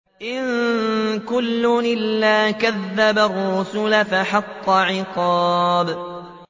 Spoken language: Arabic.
إِن كُلٌّ إِلَّا كَذَّبَ الرُّسُلَ فَحَقَّ عِقَابِ